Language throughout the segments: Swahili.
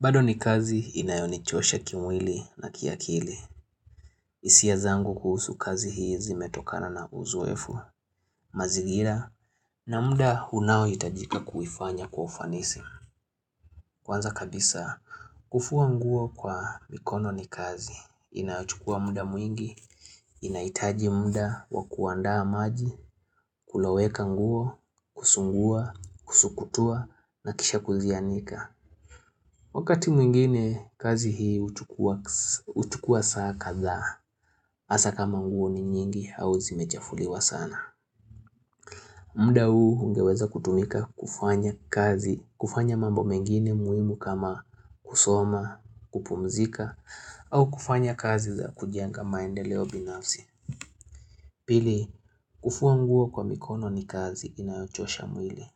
Bado ni kazi inayonichosha kimwili na kiakili. hIsia zangu kuhusu kazi hii zimetokana na uzoefu. Mazingira na muda unao itajika kuifanya kwa ufanisi. Kwanza kabisa, kufua nguo kwa mikono ni kazi, inachukua muda mwingi, inahitaji muda wakuandaa maji, kuloweka nguo, kusungua, kusukutua, na kisha kuzianika. Wakati mwingine kazi hii huchukua saa kadhaa, hasa kama nguo ni nyingi au zimechafuliwa sana. MMda huu ungeweza kutumika kufanya kazi, kufanya mambo mengine muhimu kama kusoma, kupumzika, au kufanya kazi za kujenga maendeleo binafsi. Pili, kufua nguo kwa mikono ni kazi inayochosha mwili.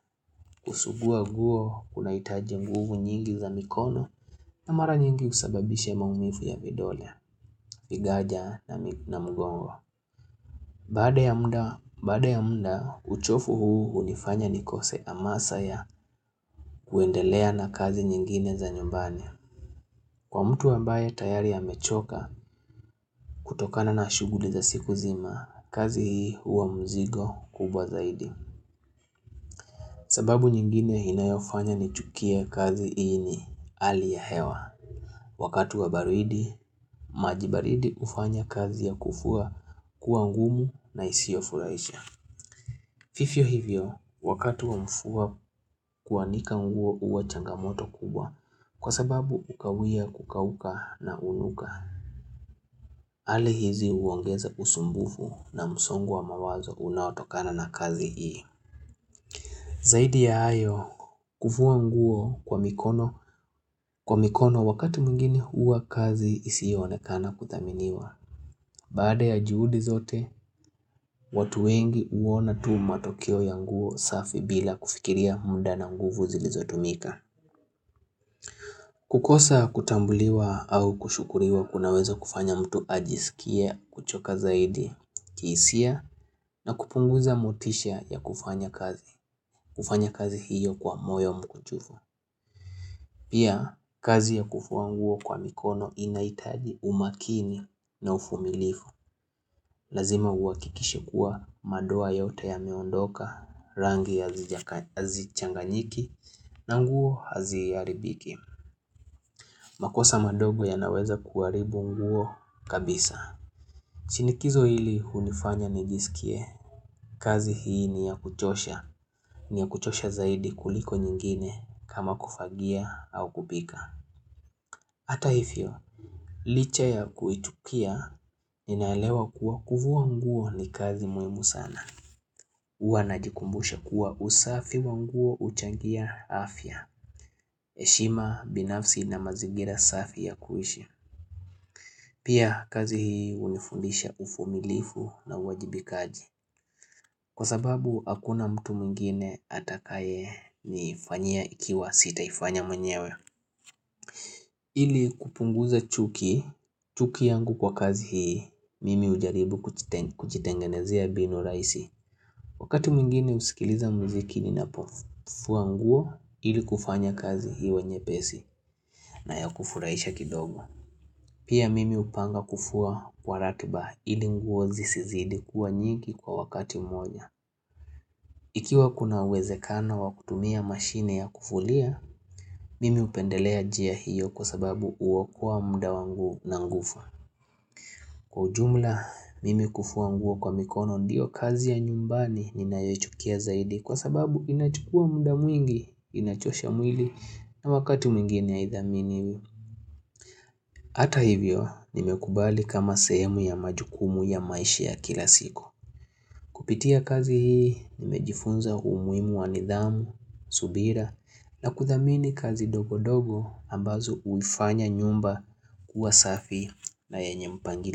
Kusugua nguo kuna hitaji nguvu nyingi za mikono na mara nyingi husababish maumivu ya vidole, vigaja na mgongo. BBada ya muda, baada ya muda, uchovu huu hunifanya nikose hamasa ya kuendelea na kazi nyingine za nyumbani. Kwa mtu ambaye tayari amechoka, kutokana na shughuli za siku nzima, kazi hii hua mzigo kubwa zaidi. Sababu nyingine inayofanya nichukie kazi hii ni hali ya hewa. Wakati wa baridi, majibaridi hufanya kazi ya kufua kuangumu na isiofurahisha. Fivyo hivyo, wakati wa mvua kuanika nguo huwa changamoto kubwa kwa sababu hukawia kukauka na hunuka. Hali hizi huongeza usumbufu na msongo wa mawazo unaotokana na kazi hii. Zaidi ya hayo, kufua nguo kwa mikono wakati mwingine huwa kazi isiyoonekana kuthaminiwa. Baada ya juhudi zote, watu wengi huona tuu matokeo ya nguo safi bila kufikiria munda na nguvu zilizo tumika. Kukosa kutambuliwa au kushukuriwa kunaweza kufanya mtu ajisikie kuchoka zaidi, kihisia na kupunguza motisha ya kufanya kazi. Kufanya kazi hiyo kwa moyo mkuchufu. Pia, kazi ya kufua nguo kwa mikono inahitaji umakini na uvumilivu. Lazima uakikishe kuwa madoa yote ya meondoka rangi hazichanganyiki na nguo haziharibiki. Makosa madogo yanaweza kuharibu nguo kabisa. Chinikizo hili hunifanya nijisikie. Kazi hii ni ya kuchosha. Ni ya kuchosha zaidi kuliko nyingine kama kufagia au kupika. Hata hivyo, licha ya kuichukia ninaelewa kuwa kufua nguo ni kazi muhimu sana. hUwa najikumbusha kuwa usafi wa nguo huchangia afya heshima binafsi na mazingira safi ya kuishi Pia kazi hii hunifundisha uvumilivu na uwajibikaji Kwa sababu hakuna mtu mwingine atakaye nifanya ikiwa sitaifanya mwenyewe ili kupunguza chuki, chuki yangu kwa kazi hii Mimi hujaribu kujitengenezea binu rahisi Wakati mmingine husikiliza muzikini na pofua nguo ili kufanya kazi iwenye pesi na ya kufurahisha kidogo. Pia mimi hupanga kufua kwa ratiba ili nguo zisizidi kuwa nyingi kwa wakati mmoja. Ikiwa kuna uwezekano wa kutumia mashine ya kufulia, mimi hupendelea njia hiyo kwa sababu huokoa muda wangu na nguvu. Kwa ujumla, mimi kufua nguo kwa mikono ndiyo kazi ya nyumbani ninayoichukia zaidi kwa sababu inachukua muda mwingi, inachosha mwili na wakati mwingine haidhaminiwi. Hata hivyo, nimekubali kama sehemu ya majukumu ya maisha ya kila siku. Kupitia kazi hii, nimejifunza umuhimu wa nidhamu, subira, na kuthamini kazi dogo dogo ambazo huifanya nyumba kuwa safi na yenye mpangilio.